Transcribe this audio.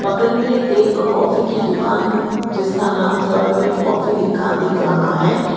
बगल में एक कॉफी की दुकान जिसका नाम थर्ड वेव कॉफी लिखा दिख रहा है।